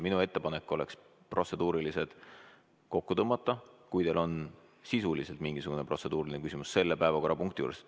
Minu ettepanek on protseduuriliste küsimuste otsad kokku tõmmata, kui teil on sisuliselt mingisugune protseduuriline küsimus selle päevakorrapunkti juures.